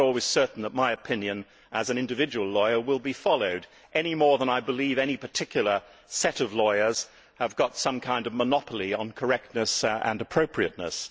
I am not always certain that my opinion as an individual lawyer will be followed any more than I believe that any particular set of lawyers has got some kind of monopoly on correctness and appropriateness.